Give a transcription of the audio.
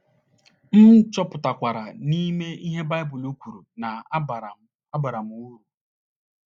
M chọpụtakwara na ime ihe Baịbụl kwuru na - abara m - abara m uru.